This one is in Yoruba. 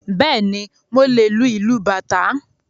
Bẹ́ẹ̀ni, mo lè lu ìlù Bàtá